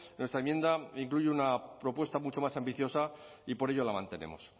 nuestra enmienda incluye una propuesta mucho más ambiciosa y por ello la mantenemos